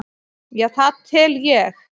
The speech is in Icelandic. Já það tel ég.